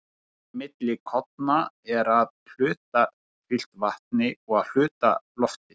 holrými milli korna er að hluta fyllt vatni og að hluta lofti